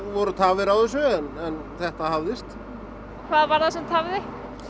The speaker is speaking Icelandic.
voru tafir á þessu en þetta hafðist hvað var það sem tafði